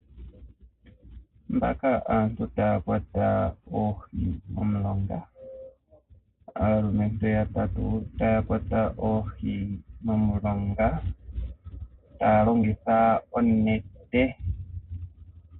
Mbaka aantu taa kwata oohi momulonga. Aalumentu yatatu taya kwata oohi momulonga, taa longitha onete.